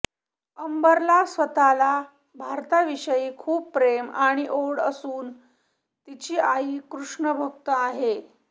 अंबरला स्वतःला भारताविषयी खूप प्रेम आणि ओढ असून तिची आई कृष्णभक्त आहे